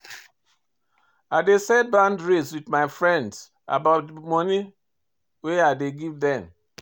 I dey set boundaries wit my friend about di moni wey I dey give dem.